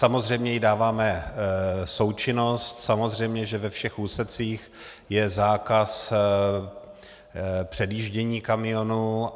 Samozřejmě jí dáváme součinnost, samozřejmě že ve všech úsecích je zákaz předjíždění kamionů.